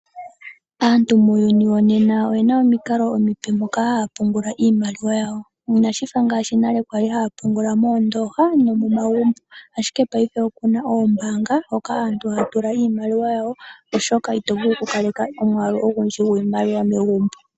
Aantu muuyuni wonena oye omikalo omipe moka haya pungula iimaliwa yawo inashifa ngaashi nale kwali haya pungula moondoha nomomagumbo, ashike paife okuna oombanga hoka aantu haya tula iimaliwa yawo oshoka itovulu okukaleka omwaalu ogundji gwiimaliwa megumbo.